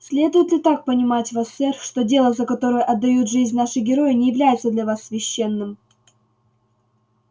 следует ли так понимать вас сэр что дело за которое отдают жизнь наши герои не является для вас священным